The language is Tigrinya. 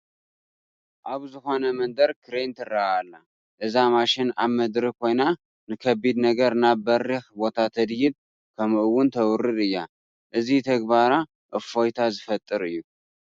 ኣብ ዝኾነ መንደር ክሬን ትርአ ኣላ፡፡ እዛ ማሽን ኣብ ምድሪ ኮይና ንከቢድ ነገር ናብ በሪኽ ቦታ ተድይብ ከምኡ'ውን ተውርድ እያ፡፡ እዚ ተግባራ እፎይታ ዝፈጥር እዩ፡፡